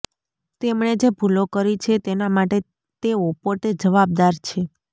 તેમણે જે ભૂલો કરી છે તેના માટે તેઓ પોતે જવાબદાર છે